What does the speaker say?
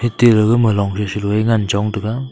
tel gama long chan shola ngan chong taga.